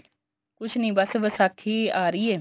ਕੁੱਝ ਨੀਂ ਬੱਸ ਵਿਸਾਖੀ ਆ ਰਹੀ ਏ